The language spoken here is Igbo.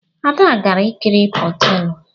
Ada gara ikiri potebụl